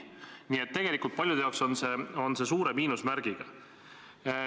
Nii et tegelikult paljude jaoks on see suure miinusmärgiga.